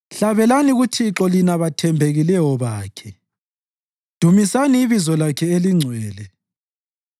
Hlabelelani kuThixo lina bathembekileyo bakhe; dumisani ibizo lakhe elingcwele.